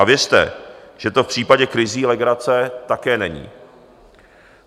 A věřte, že to v případě krizí legrace také není.